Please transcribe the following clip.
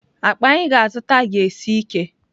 Akpa anyị ga-azụta ga-esi ike.